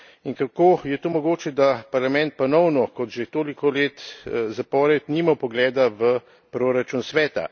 In kako je to mogoče, da Parlament ponovno, kot že toliko let zapored, nima vpogleda v proračun Sveta?